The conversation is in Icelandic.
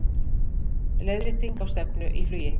Leiðrétting á stefnu í flugi